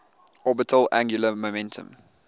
orbital angular momentum